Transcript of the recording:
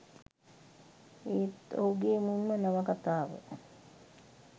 ඒත් ඔහු ගේ මුල් ම නවකතාව